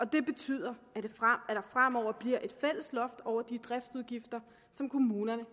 det betyder at der fremover bliver et fælles loft over de driftsudgifter som kommunerne